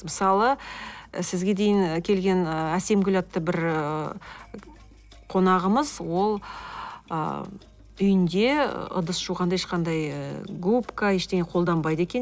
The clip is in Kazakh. мысалы сізге дейін келген ы әсемгүл атты бір ы қонағымыз ол ы үйінде ыдыс жуғанда ешқандай ы губка ештеңе қолданбайды екен